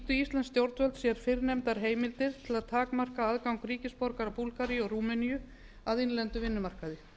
nýttu stjórnvöld sér fyrrnefndar heimildir til að takmarka aðgang ríkisborgara búlgaríu og rúmeníu að innlendum vinnumarkaði